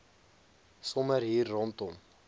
sommer hier rondom